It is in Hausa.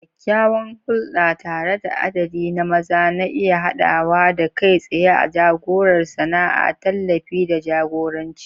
Kyakkyawan hulɗa tare da adadi na maza na iya haɗawa da kai tsaye ko jagorar sana'a, tallafi, da jagoranci.